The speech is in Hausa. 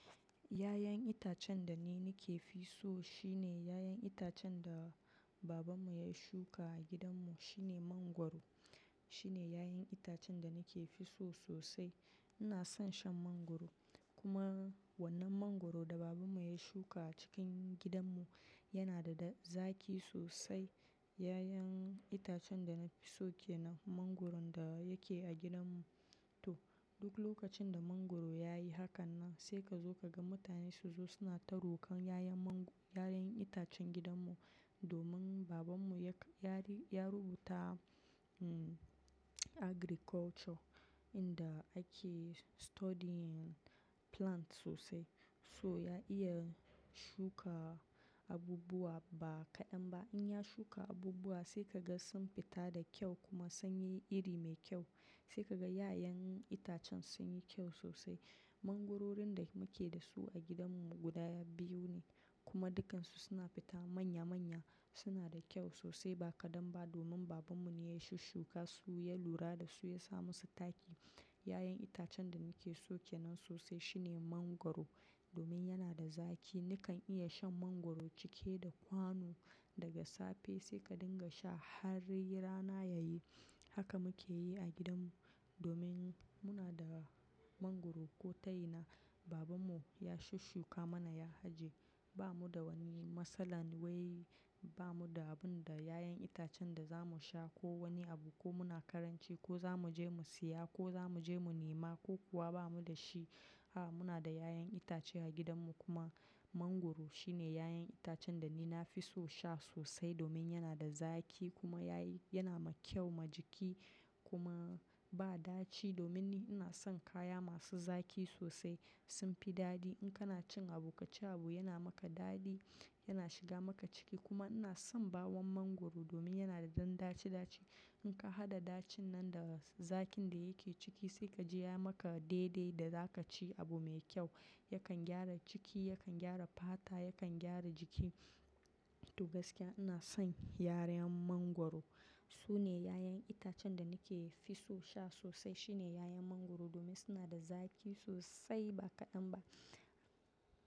Yayan itacen da ni nake fi so shine yayan itacen da babanmu ya shuka a gidanmu, shine mangwaro. Shine yayan itacen da nake fi so sosai. Ina son shan mangwaro, kuma wannan mangwaro da babanmu ya shuka a cikin gidanmu yana da da zaki sosai. Yayan itacen da na fi so ke nan mangwaron da yake a gidanmu. To, duk lokacin da mangwaro ya yi haka nan sai ka zo ka ga mutane su zo suna tarokan yayan man-, yayan itacen gidanmu domin babanmu ya, ya rubuta, hmm, agriculture inda ake studying plant sosai, so ya iya shuka abubuwa ba kaɗan ba. In ya shuka abubuwa sai ka ga sun fita da kyau kuma sun yi iri mai kyau. Sai ka ga yayen itacen sun yi kyau sosai. Mangwarorin da muke da su a gidanmu guda biyu ne, kuma dukkansu suna fita manya-manya. Suna da kyau sosai ba kaɗan ba domin babanmu ne ya shushshukasu, ya lura da su, ya sa musu taki. Yayan itacen da nake so ke nan sosai shine mangwaro domin yana da zaki. Nikan iya shan mangwaro cike da kwano daga safe sai ka dinga sha har rana yayi. Haka muke yi a gidanmu domin muna da mangwaro ko taina babanmu ya shukaa mana, ya haje. Ba mu da wani matsalan wai ba mu da abun da, yayan itacen da za mu sha ko wani abu ko muna karanci ko za mu je mu siya ko za mu je mu nema ko kuwa ba mu da shi. A muna da yayan itace a gidanmu kuma mangwaro shine yayan itacen da ni na fi so sha sosai domin yana da zaki kuma yayi, yana ma kyau ma jiki kuma ba daci domin ni ina son kaya masu zaki sosai, sunfi dadi. In kana cin abu kaci abu yana maka dadi, yana shiga maka ciki kuma ina son bawon mangwaro domin yana da dan daci daci. In ka haɗa dacin nan da zakin da yake ciki sai ka ji ya maka daidai da za ka ci abu mai kyau. Yakan gyara ciki, yakan gyara fata, yakan gyara jiki. To gaskiya ina son yarayan mangwaro. Sune yayen itacen da nake fi so sha sosai shine yayen mangwaro domin suna da zaki sosai ba kaɗan ba.